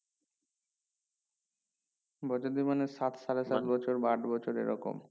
বছর দুই মানে সাত সালেকের বছর বা আট বছর এই রকম